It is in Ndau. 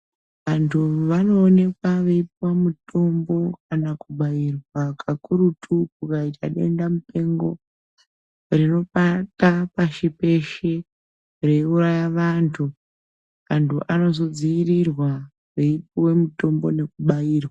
Vantu vanoonekwa veita mitombo kana kubairwa kakurutu kana kukaitwa denda mupengo peshe reiuraya vantu antu anozodzivirirwa veipuwa mitombo veibarirwa.